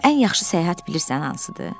Amma ən yaxşı səyahət bilirsən hansıdır?